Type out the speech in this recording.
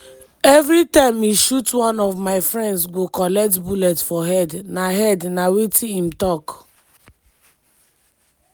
"evri time e shoot one of my friends go collect bullet for head" na head" na wetin im tok.